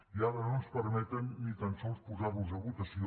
i ara no ens permeten ni tan sols posar los a votació